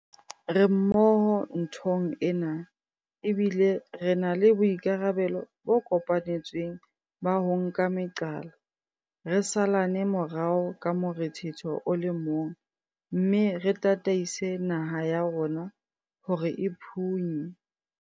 Re mmoho nthong ena, ebile re na le boikarabelo bo kopanetsweng ba ho nka meqala, re salane morao ka morethetho o le mong mme re tataise naha ya rona hore e phunye